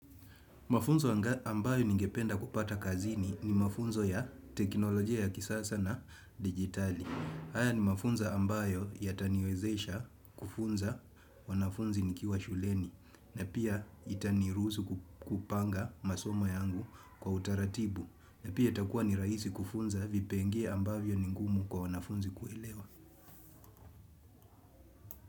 Mafunzo ambayo ningependa kupata kazini ni mafunzo ya teknolojia ya kisasa na digitali. Haya ni mafunzo ambayo yataniwezesha kufunza wanafunzi nikiwa shuleni na pia itaniruhuzu kupanga masoma yangu kwa utaratibu na pia itakuwa nirahisi kufunza vipenge ambavyo ningumu kwa wanafunzi kuelewa.